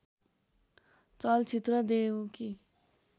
चलचित्र देउकी